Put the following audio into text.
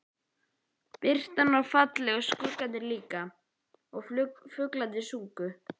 Birtan var falleg og skuggarnir líka og fuglarnir sungu.